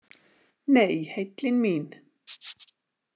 Nei, heillin mín.